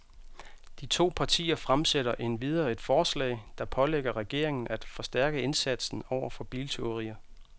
De to partier fremsætter endvidere et forslag, der pålægger regeringen af forstærke indsatsen over for biltyverier.